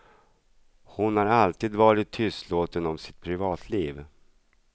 Hon har alltid varit tystlåten om sitt privatliv.